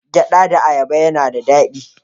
Gyada da ayaba na da dadi